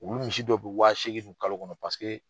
U be misi dɔ be waaseegin dun kalo kɔnɔ